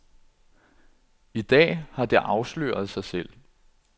I dag har det afsløret sig selv.